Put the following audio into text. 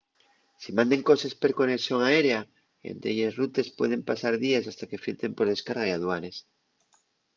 si manden coses per conexón aérea en delles rutes pueden pasar díes hasta que filtren per descarga y aduanes